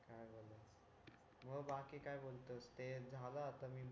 काय बोलणार मग बाकी काय बोलतोस ते झालं आता